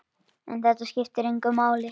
En þetta skiptir engu máli.